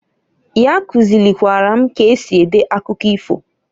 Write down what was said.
Ya kuzilikwara m k'esi ede akụkọ ifo.